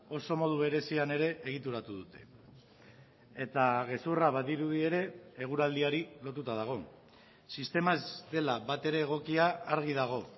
oso modu berezian ere egituratu dute eta gezurra badirudi ere eguraldiari lotuta dago sistema ez dela batere egokia argi dago